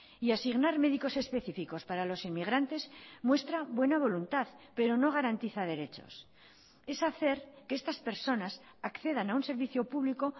y asignar médicos específicos para los inmigrantes muestra buena voluntad pero no garantiza derechos es hacer que estas personas accedan a un servicio público